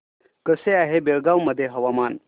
कसे आहे बेळगाव मध्ये हवामान